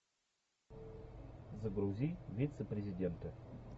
загрузи вице президента